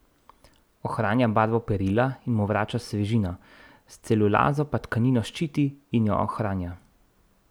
Ohranja barvo perila in mu vrača svežino, s celulazo pa tkanino zaščiti in jo ohranja.